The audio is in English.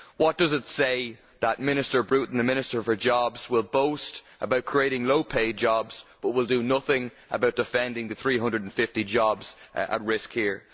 What does it say that Mr Bruton, the Minister for Jobs, will boast about creating low paid jobs but will do nothing to defend the 350 jobs at risk here?